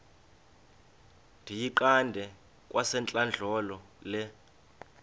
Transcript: ndiyiqande kwasentlandlolo le